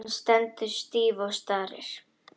Hún stendur stíf og starir.